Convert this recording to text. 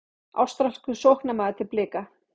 Ástralskur sóknarmaður til Blika